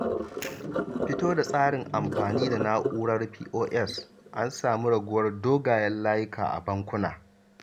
Fito da tsarin amfani da na'urar POS, an samin raguwar dogwayen layuka a bankuna.